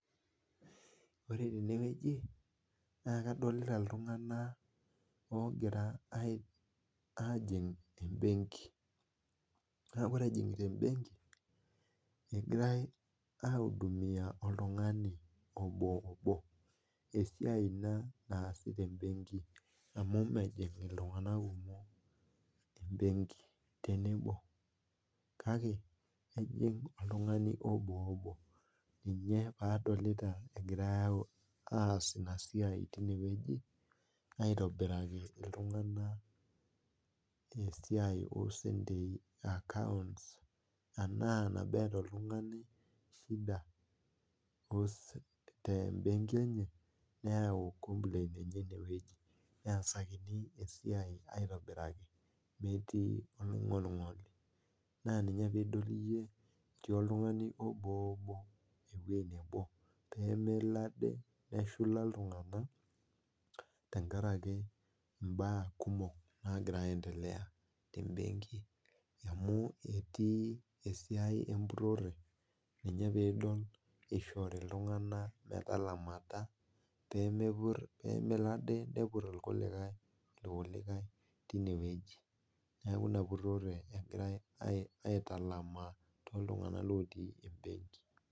Ore teneweji naa adolita iltungank ogira ajing embenki ,naa ore ejingita embenki engirae aiudumiya oltungani oboobo ,esiai ina naasi temebenki amu mejing iltunganak kumok tenebo kake ejingu oltungani oboobo, ina pee adolita egiarae aas tine weji aitobiraki iltunganak esiai esentei ,akaonts tenaa nabo eeta oltungani tembenki enye neyau komplain enye ineweji ,neesakini esiai aitobiraki metii olongolingoli ,naa ina pee idol iyieu etii oltungani eweji nebo pee midol iyie, pee melo ade neshula iltunganak tenkaraki mbaa kumok nagira aendelea tembenki ,amu etii esiai empurore ninye pee idol ishoritin iltunganak metalamata pee melo ade nepur irkulikae tineweji ,neeku ina purore egiare aitalamaa tooltunganak lotii embenki.